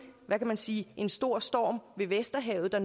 hvad kan man sige en stor storm ved vesterhavet der